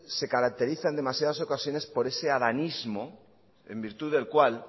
se caracteriza en demasiadas ocasiones por ese adanismo en virtud del cual